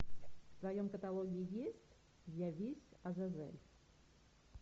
в твоем каталоге есть явись азазель